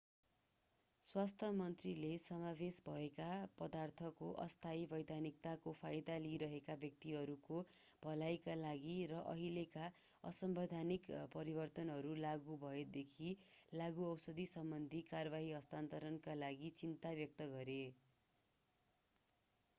स्वास्थ्य मन्त्रीले समावेश भएका पदार्थको अस्थायी वैधानिकताको फाइदा लिइरहेका व्यक्तिहरूको भलाइका लागि र अहिलेका असंवैधानिक परिवर्तनहरू लागू भएदेखि लागूऔषध सम्बन्धी कारवाही हस्तान्तरणका लागि चिन्ता व्यक्त गरे